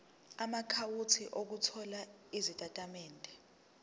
amaakhawunti othola izitatimende